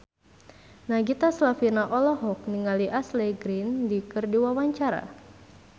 Nagita Slavina olohok ningali Ashley Greene keur diwawancara